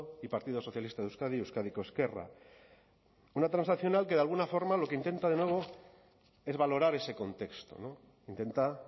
y partido socialista de euskadi euskadiko ezkerra una transaccional que de alguna forma lo que intenta es valorar ese contexto intenta